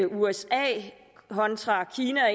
usa kontra kina og